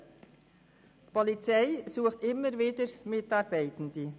Die Polizei sucht stets Mitarbeitende.